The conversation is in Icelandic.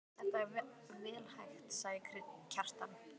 Þetta er vel hægt, sagði Kjartan.